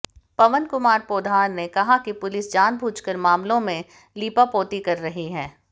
पवन कुमार पोद्दार ने कहा कि पुलिस जानबूझकर मामलों में लीपापोती कर रही है